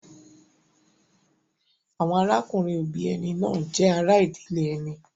Àwọn arákùnrin-òbí ẹni náà jẹ́ ará ìdílé ẹni.